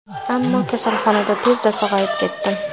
Ammo kasalxonada tezda sog‘ayib ketdim.